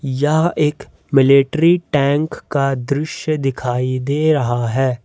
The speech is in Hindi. यह एक मिलिट्री टैंक का दृश्य दिखाइए दे रहा है।